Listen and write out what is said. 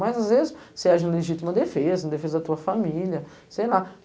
Mas, às vezes, você age na legítima defesa, na defesa da tua família, sei lá.